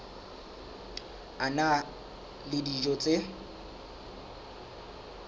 a na le dijo tse